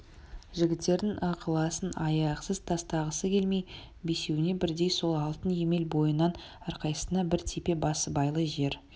жігіттердің ықыласын аяқсыз тастағысы келмей бесеуіне бірдей сол алтын емел бойынан әрқайсысына бір тепе басыбайлы жер